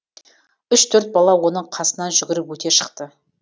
үш төрт бала оның қасынан жүгіріп өте шықты